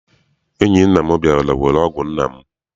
Enyi nna m bịara were ọgụ nna m.